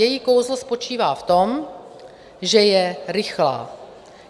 Její kouzlo spočívá v tom, že je rychlá.